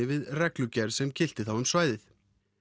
við reglugerð sem gilti um svæðið